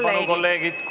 Tähelepanu, kolleegid!